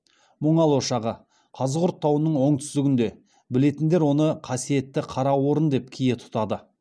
мұңал ошағы қазығұрт тауының оңтүстігінде білетіндер оны қасиетті қараорын деп кие тұтады